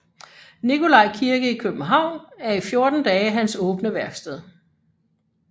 Nikolaj Kirke i København er i 14 dage hans åbne værksted